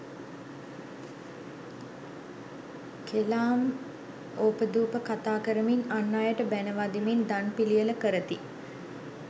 කෙලාම්, ඕපාදූප කතා කරමින් අන් අයට බැණ වදිමින් දන් පිළියෙළ කරති.